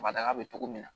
Kabada bɛ cogo min na